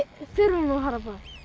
þurfum að fara báðir